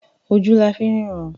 Ojú la fi ń ríran.